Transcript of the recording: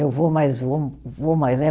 Eu vou mais, vou vou mais, né?